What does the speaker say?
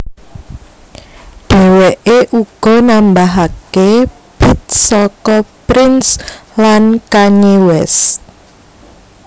Dheweke uga nambahake bit saka Prince lan Kanye West